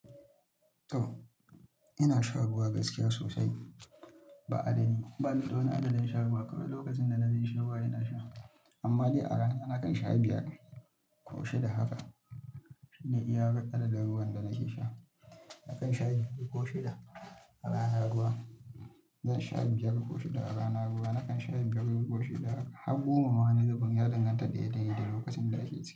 To ina shan ruwa gaskiya sosai ba adadi. Bani da wani adadin shan ruwa, Kowane lokacin da na ji ƙishin ruwa ina sha. Amma ni a rana nakan sha biyar ko shida haka ne iya adadin ruwan da nake sha. Nakan sha biyar ko shida a rana ruwa. Zan sha biyar ko shida a rana ruwa, Nakan sha biyar ko shida haka, Haggoma ma wani zubin ya danganta daidai da lokacin da yake ci.